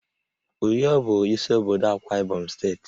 Uyo bụ isi obodo Akwa Ibom steeti